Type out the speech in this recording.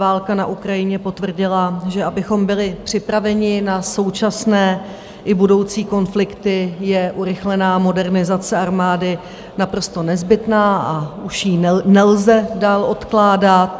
Válka na Ukrajině potvrdila, že abychom byli připraveni na současné i budoucí konflikty, je urychlená modernizace armády naprosto nezbytná a už ji nelze dál odkládat.